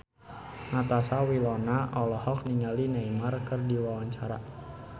Natasha Wilona olohok ningali Neymar keur diwawancara